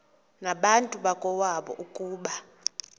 nabantu bakowabo ukuba